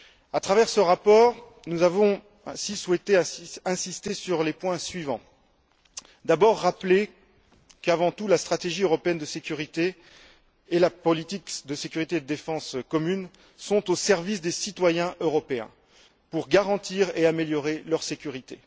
À travers ce rapport, nous avons souhaité insister sur les points suivants d'abord, rappeler qu'avant tout, la stratégie européenne de sécurité et la politique de sécurité et de défense commune sont au service des citoyens européens, pour garantir et améliorer leur sécurité.